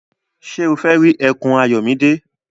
Ṣé o fẹ́ rí ẹkùn Ayọ̀mídé?